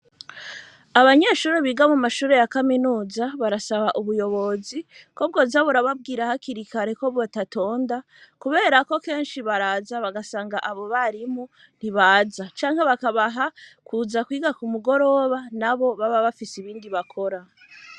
Abanyeshuri biga mu mashuri ya kaminuza barasaba ubuyobozi ko bwo zabura babwira hakirikareko batatonda, kubera ko kenshi baraza bagasanga abo barimo ntibaza canke bakabaha kuza kwiga ku mugoroba na bo baba bafise ibindi bakora.